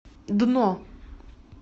дно